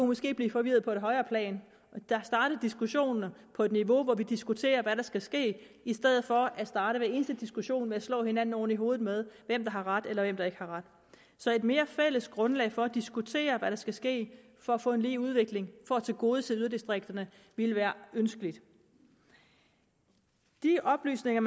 måske blive forvirret på et højere plan og starte diskussionerne på et niveau hvor vi diskuterer hvad der skal ske i stedet for at starte hver eneste diskussion med at slå hinanden oven i hovedet med hvem der har ret eller hvem der ikke har ret så et mere fælles grundlag for at diskutere hvad der skal ske for at få en lige udvikling for at tilgodese yderdistrikterne ville være ønskeligt de oplysninger